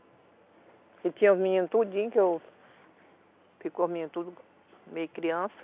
Porque tinha os meninos tudinho, que eu... Ficou os meninos tudo meio criança.